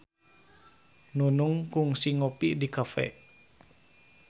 Nunung kungsi ngopi di cafe